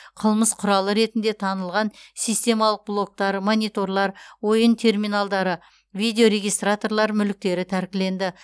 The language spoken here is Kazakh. қылмыс құралы ретінде танылған системалық блоктар мониторлар ойын терминалдары видеорегистраторлар мүліктері тәркіленді